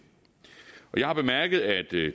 jeg har bemærket at det